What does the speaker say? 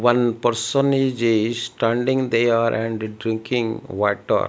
one person iz a standing they are and drinking water.